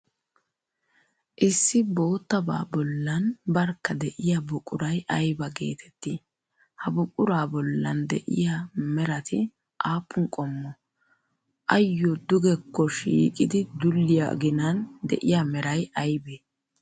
Issi boottabaa bollan barkka de'iyaa buquray ayba geetettii? Ha buquraa bollan de'iya merati aappun qommo? Ayyo dugekko shiiqidi dulliya ginan de'iya meray aybee?